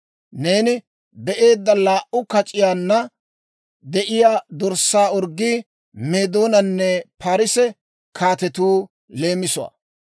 «Neeni be'eedda laa"u kac'iyaanna de'iyaa dorssaa orggii Meedoonanne Paarise kaatetuu leemisuwaa.